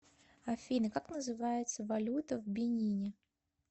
афина как называется валюта в бенине